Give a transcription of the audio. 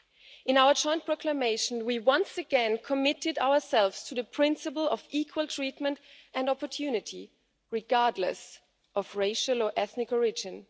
In our joint proclamation, we once again committed ourselves to the principle of equal treatment and opportunity, regardless of racial or ethnic origin.